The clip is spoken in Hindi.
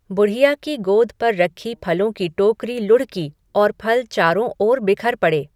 बुढ़िया की गोद पर रखी फलों की टोकरी लुढ़की और फल चारों ओर बिखर पड़े।